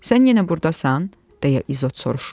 Sən yenə burdasan, deyə İzot soruşur.